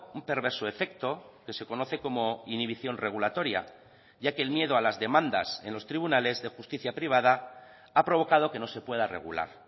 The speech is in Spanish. un perverso efecto que se conoce como inhibición regulatoria ya que el miedo a las demandas en los tribunales de justicia privada ha provocado que no se pueda regular